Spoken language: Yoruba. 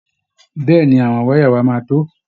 Bẹ́ẹ̀ ni, àwọn wáyà yìí máa tó